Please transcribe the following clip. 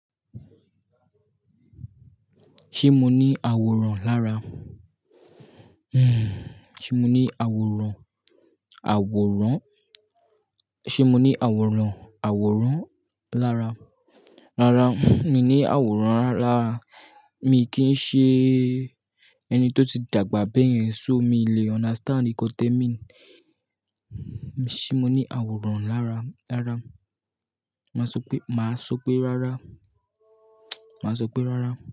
Ṣé mo ní àwòrán lára? Hmm, ṣe mo ní àwòrán, àwòrán? Ṣé mo ní àwòrán, àwòrán lára? Rárá, mi ní àwòrán lára. Mi kì í ṣe ẹni tó ti dàgbà bẹ́ẹ̀ yẹn, so mi lè understand nkan tẹ mean. Ṣé mo ní àwòrán lára, lára? Màá sọ pé, màá sọ pé rárá. Màá sọ pé rárá.